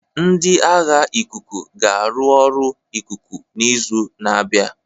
Ndị agha ikuku ga-arụ ọrụ ikuku n'izu na-abịa.